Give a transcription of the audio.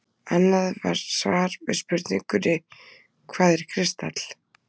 Annað svar við spurningunni Hvað er kristall?